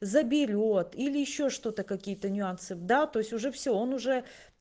заберёт или ещё что-то какие-то нюансы да то есть уже все он уже